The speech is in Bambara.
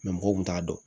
mɔgɔw kun t'a dɔn